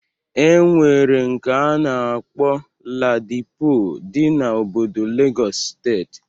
E nwere nke a na-akpọ Ladipo dị na obodo Legọs steeti.